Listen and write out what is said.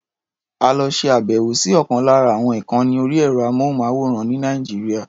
A lọ ṣe àbẹ̀wò sí ọ̀kan lára àwọn ìkànni orí ẹ̀rọ-amóhùnmáwòrán ní Nàìjíríà.